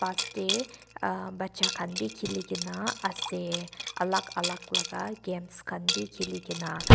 te bacha khan bi khililae na ase alak alka laka games khan bi khilikae na.